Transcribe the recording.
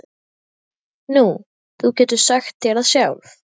Nú, þú getur sagt þér það sjálf.